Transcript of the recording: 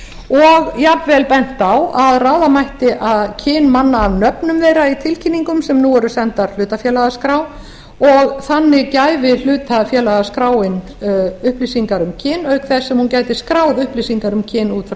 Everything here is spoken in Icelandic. og jafnvel bent var á að ráða mætti kyn manna af nöfnum þeirra í tilkynningum sem nú eru sendar hlutafélagaskrá og þannig gæfi hlutafélagaskráin upplýsingar um kyn auk þess sem hún gæti skráð upplýsingar um kyn út frá